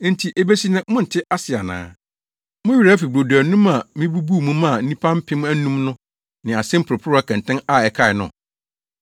Enti ebesi nnɛ monte ase ana? Mo werɛ afi brodo anum a mibubuu mu maa nnipa mpem anum no ne ase mporoporowa kɛntɛn a ɛkae no?